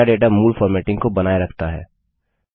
नया डेटा मूल फॉर्मेटिंग को बनाए रखता है